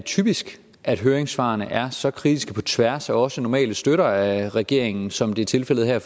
typisk at høringssvarene er så kritiske på tværs af også normale støtter af regeringen som det er tilfældet her